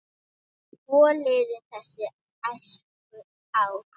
Svo liðu þessi æskuár.